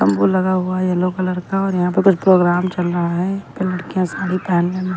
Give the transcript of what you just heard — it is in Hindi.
तंबू लगा हुआ है येलो कलर का और यहाँ पर कुछ प्रोग्राम चल रहा है लड़कियां साड़ी पहन लेना--